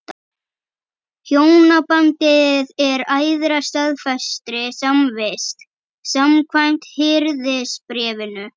Hjónabandið er æðra staðfestri samvist, samkvæmt Hirðisbréfinu.